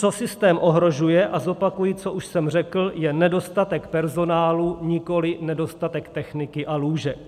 Co systém ohrožuje, a zopakuji, co už jsem řekl, je nedostatek personálu, nikoliv nedostatek techniky a lůžek.